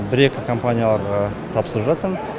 бір екі компанияларға тапсырып жатырмын